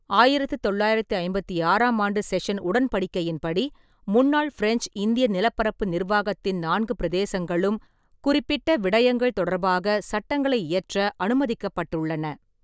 ஆயிரத்து தொள்ளாயிரத்து ஐம்பத்தி ஆறாம் ஆண்டு செஷன் உடன்படிக்கையின்படி, முன்னாள் பிரெஞ்ச் இந்திய நிலப்பரப்பு நிர்வாகத்தின் நான்கு பிரதேசங்களும் குறிப்பிட்ட விடயங்கள் தொடர்பாக சட்டங்களை இயற்ற அனுமதிக்கப்பட்டுள்ளன.